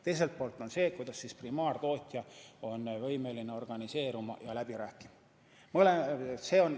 Teiselt poolt on see, kuidas primaartootja on võimeline organiseeruma ja läbi rääkima.